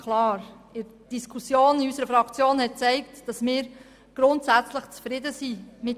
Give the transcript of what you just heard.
Die Diskussion in unserer Fraktion hat gezeigt, dass wir mit der SARZ grundsätzlich zufrieden sind.